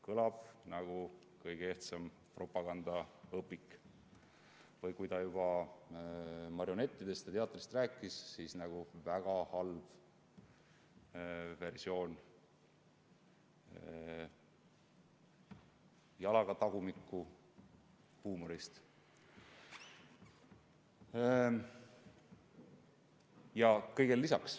Kõlab nagu kõige ehtsam propagandaõpik või, kui ta juba marionettidest ja teatrist rääkis, siis väga halb versioon jalaga-tagumikku-huumorist.